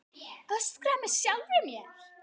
Öskra með sjálfri mér.